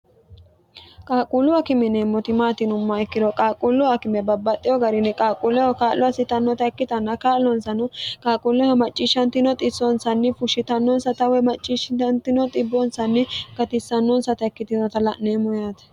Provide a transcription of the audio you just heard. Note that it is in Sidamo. qaaquullu akime yineemmoti maati yinummoha ikkiro qaaqquullu akime babbaxxeo garini qaaqquulleho kaa'lo assitannota ikkitanna kaa'lonsano qaaquulleho macciishshantino xissoonsanni fushshitannonsata woy macciishshamino xibbinsanni gatissannonsata ikkitinota la'neemmo yaate